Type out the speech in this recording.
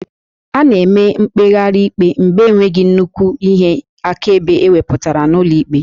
A na-eme mkpegharị ikpe mgbe enweghị nnukwu ihe akaebe ewepụtara n'ụlọ ikpe